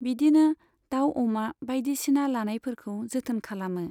बिदिनो दाउ अमा बायदिसिना लानायफोरखौ जोथोन खालामो।